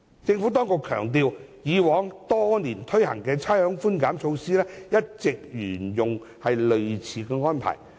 政府當局強調，以往多年推行的差餉寬減措施一直沿用類似安排。